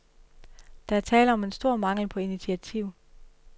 Der er tale om en stor mangel på initiativ.